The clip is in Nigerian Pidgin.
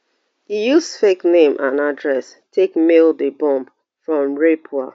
e use fake name and address take mail di bomb from raipur